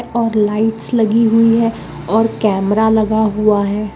और लाइट्स लगी हुई है और कैमरा लगा हुआ है।